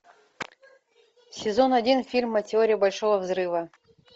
сезон один фильма теория большого взрыва